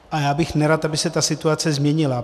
A já bych nerad, aby se ta situace změnila.